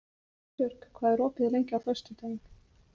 Ásbjörg, hvað er opið lengi á föstudaginn?